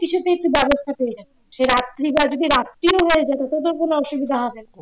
কিছুতেই তুই ব্যবস্থা পেয়ে যাবি যদি রাত্রি বা রাত্রি ও হয়ে যায় তাতেও কোন অসুবিধা হবে না